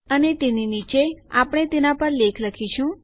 અને તેની નીચે આપણે તેના પર લેખ લખીશું